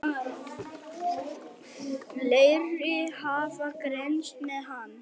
Fleiri hafa greinst með hann.